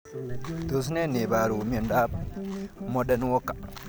Tos ne neiparu miondop Marden walker